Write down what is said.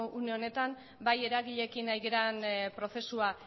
une honetan bai eragileekin ari garen prozesua